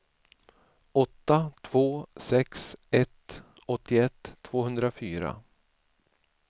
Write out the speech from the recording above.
åtta två sex ett åttioett tvåhundrafyra